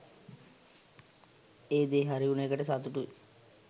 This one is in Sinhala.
ඒ දේ හරි උන එකට සතුටුයි.